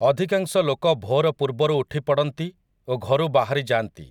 ଅଧିକାଂଶ ଲୋକ ଭୋର ପୂର୍ବରୁ ଉଠିପଡ଼ନ୍ତି ଓ ଘରୁ ବାହାରି ଯାଆନ୍ତି ।